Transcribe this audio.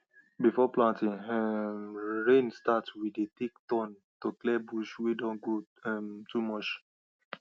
before planting um rain start we dey take turn to clear bush wey don grow um too much